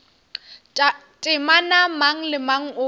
temana mang le mang o